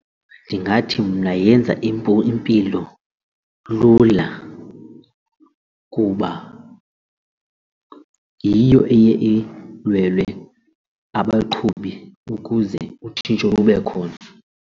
Ndingathi mna yenza impilo lula kuba yiyo eye alwele abaqhubi ukuze utshintsho lube khona.